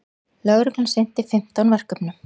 Lögreglan sinnti um fimmtán verkefnum